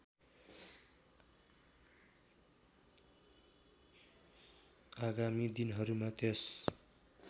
आगामी दिनहरूमा त्यस